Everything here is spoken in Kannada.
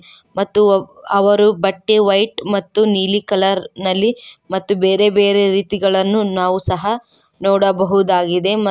ಮತ್ತು ಅವ್ ಅವರು ಬಟ್ಟೆ ವೈಟ್ ಮತ್ತು ನೀಲಿ ಕಲರ್ ನಲ್ಲಿ ಮತ್ತು ಬೇರೆ ಬೇರೆ ರೀತಿಗಳನ್ನು ನಾವು ಸಹ ನೋಡಬಹುದಾಗಿದೆ ಮ --